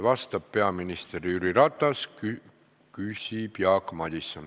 Vastab peaminister Jüri Ratas, küsib Jaak Madison.